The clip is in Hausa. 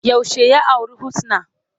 Yaushe ya auri Husna?